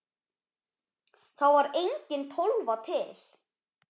Þá var engin Tólfa til!